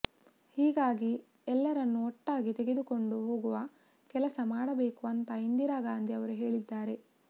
ಹೀಗಾಗಿ ಎಲ್ಲರನ್ನು ಒಟ್ಟಾಗಿ ತೆಗೆದುಕೊಂಡು ಹೋಗುವ ಕೆಲಸ ಮಾಡಬೇಕು ಅಂತಾ ಇಂದಿರಾ ಗಾಂಧಿ ಅವರು ಹೇಳಿದ್ದಾರೆ